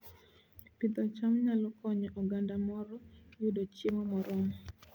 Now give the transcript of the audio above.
Pidho cham nyalo konyo oganda moro yudo chiemo moromo